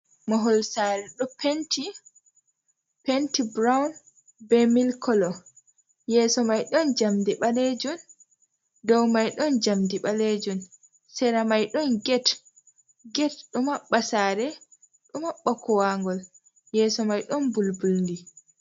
Mahol sare ɗo penti, penti brown be mil kolo yeso maijjn dow mai don jamdi balejun. sera mai don get ɗo maɓɓa sare ɗo maɓɓa kuwangol yeso mai ɗon mbulbuldi.